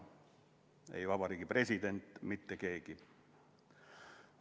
Ei Eesti Vabariigi president, mitte keegi.